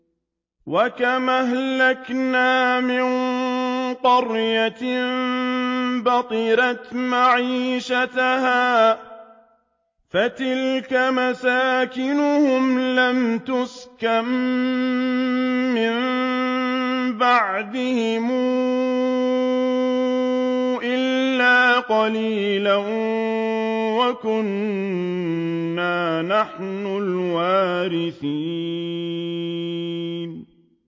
وَكَمْ أَهْلَكْنَا مِن قَرْيَةٍ بَطِرَتْ مَعِيشَتَهَا ۖ فَتِلْكَ مَسَاكِنُهُمْ لَمْ تُسْكَن مِّن بَعْدِهِمْ إِلَّا قَلِيلًا ۖ وَكُنَّا نَحْنُ الْوَارِثِينَ